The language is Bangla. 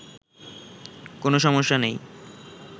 কোনো সমস্যা নেই